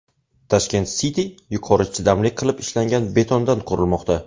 Tashkent City yuqori chidamli qilib ishlangan betondan qurilmoqda.